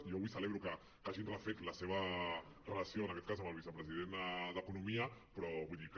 i jo avui celebro que hagin refet la seva relació en aquest cas amb el vicepresident d’economia però vull dir que